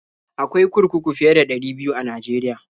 Akwai kurkuku fiye da ɗari biyu a Najeriya.